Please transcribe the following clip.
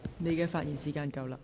你的發言時限到了。